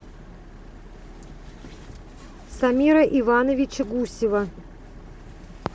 самира ивановича гусева